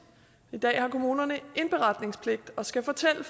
i dag har kommunerne indberetningspligt og skal fortælle